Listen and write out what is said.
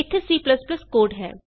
ਇਥੇ C code ਹੈ